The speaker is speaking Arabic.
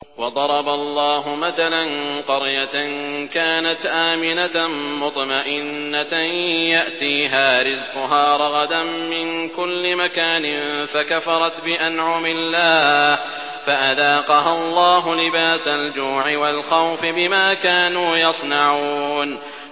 وَضَرَبَ اللَّهُ مَثَلًا قَرْيَةً كَانَتْ آمِنَةً مُّطْمَئِنَّةً يَأْتِيهَا رِزْقُهَا رَغَدًا مِّن كُلِّ مَكَانٍ فَكَفَرَتْ بِأَنْعُمِ اللَّهِ فَأَذَاقَهَا اللَّهُ لِبَاسَ الْجُوعِ وَالْخَوْفِ بِمَا كَانُوا يَصْنَعُونَ